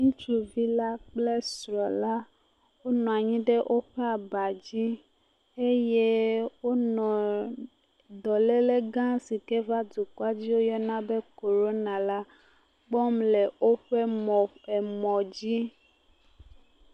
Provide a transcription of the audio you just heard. Ŋutsuvi la kple srɔ̃ la wonɔ anyi ɖe woƒe aba dzi eye wonɔ dɔlele gã si ke va dukɔa me woyɔna be koɖona la kpɔm le woƒe mɔ emɔ dzi.